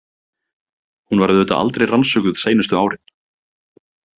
Hún var auðvitað aldrei rannsökuð seinustu árin.